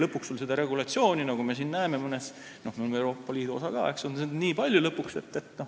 Lõpuks on seda reguleerimist, nagu me siin näeme, olles ka Euroopa Liidu osa, liiga palju.